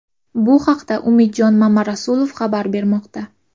Bu haqda Umidjon Mamarasulov xabar bermoqda.